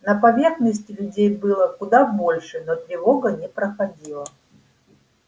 на поверхности людей было куда больше но тревога не проходила